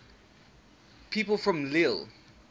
people from lille